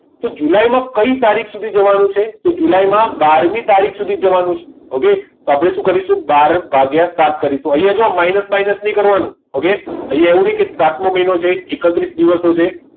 જુલાઈમાં કઈ તારીખ સુધી જવાનું છે તો જુલાઈમાં બાર મી તારીખ સુધી જવાનું છે okay તો આપણે શું કરીશું બાર ભાગીય સાત કરીશું તો અહીંયા જો અહીંયા જો માઇનસ બાઇનસ નહિ કરવાનો ઓકે okay એવું નહીં કે સાતમો મહિનો છે એકત્રીસ દિવસો છે